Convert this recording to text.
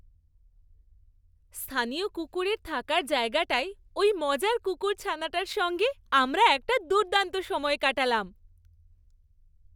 স্থানীয় কুকুরের থাকার জায়গাটায় ওই মজার কুকুরছানাটার সঙ্গে আমরা একটা দুর্দান্ত সময় কাটালাম।